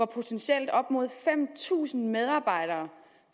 potentielt op mod fem tusind medarbejdere